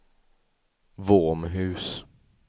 Våmhus